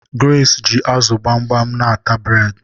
Grace ji azu gbamgbam n'ata bred